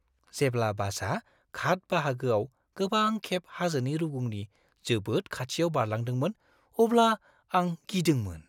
जेब्ला बासआ घाट बाहागोआव गोबां खेब हाजोनि रुगुंनि जोबोद खाथियाव बारलांदोंमोन अब्ला आं गिदोंमोन।